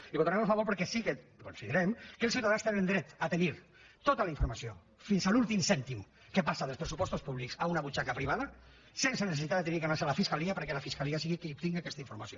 i votarem a favor perquè sí que considerem que els ciutadans tenen dret a tenir tota la informació fins a l’últim cèntim que passa dels pressupostos públics a una butxaca privada sense necessitat d’haver d’anar se’n a la fiscalia perquè la fiscalia sigui qui tinga aquesta informació